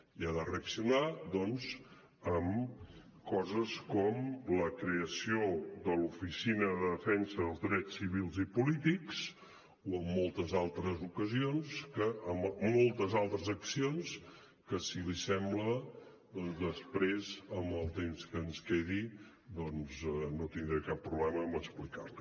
i ha de reaccionar doncs amb coses com la creació de l’oficina per a la defensa dels drets civils i polítics o amb moltes altres accions que si li sembla després amb el temps que ens quedi no tindré cap problema en explicar li